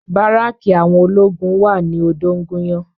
Báràkì àwọn ológun wà ní odóńgúnyán